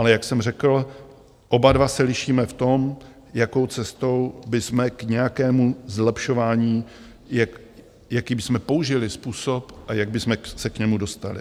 Ale jak jsem řekl, oba dva se lišíme v tom, jakou cestou bychom k nějakému zlepšování, jaký bychom použili způsob a jak bychom se k němu dostali.